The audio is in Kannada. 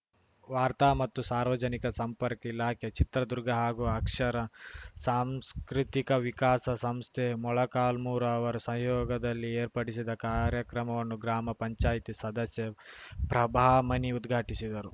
ವಾರ್ತಾ ಮತ್ತು ಸಾರ್ವಜನಿಕ ಸಂಪರ್ಕ ಇಲಾಖೆ ಚಿತ್ರದುರ್ಗ ಹಾಗೂ ಅಕ್ಷರ ಸಾಂಸ್ಕೃತಿಕ ವಿಕಾಸ ಸಂಸ್ಥೆ ಮೊಳಕಾಲ್ಮೂರು ಅವರ ಸಹಯೋಗದಲ್ಲಿ ಏರ್ಪಡಿಸಿದ್ದ ಕಾರ್ಯಕ್ರಮವನ್ನು ಗ್ರಾಮ ಪಂಚಾಯ್ತಿ ಸದಸ್ಯೆ ಪ್ರಭಾಮಣಿ ಉದ್ಘಾಟಿಸಿದರು